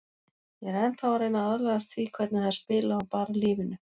Ég er ennþá að reyna að aðlagast því hvernig þær spila og bara lífinu.